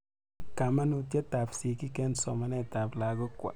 Kamanutyet ap sigik eng' somanet ap lagok.